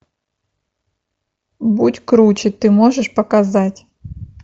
будь круче ты можешь показать